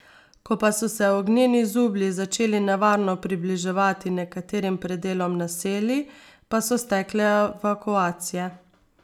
Ko pa so se ognjeni zublji začeli nevarno približevati nekaterim predelom naselij, pa so stekle evakuacije.